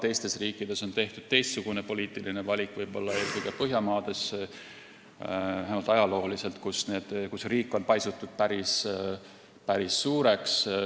Teistes riikides on tehtud teistsugune poliitiline valik, eelkõige Põhjamaades, vähemalt ajalooliselt, ja riik on paisunud päris suureks.